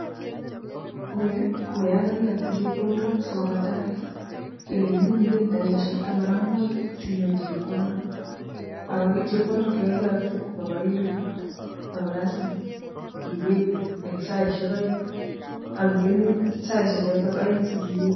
oko Yuh koyon kokiyokto chepkondok sikobaa taban, kilenchini igen dakikaisiek taman ak mut sinyoru chepkondok, ako chepkondok chekokiyokto kamara kaelifut. Kolazima iweku en saisiek oeng ak ikeni saisiek choton sikewek